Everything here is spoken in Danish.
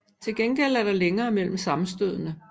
Til gengæld er der længere mellem sammenstødene